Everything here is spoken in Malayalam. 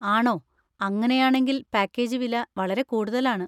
ആണോ, അങ്ങനെയാണെങ്കിൽ പാക്കേജ് വില വളരെ കൂടുതലാണ്.